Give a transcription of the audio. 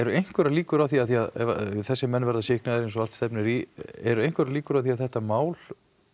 einhverjar líkur á því því ef þessir menn verða sýknaðir eins og allt stefnir í eru einhverjar líkur á því að þetta mál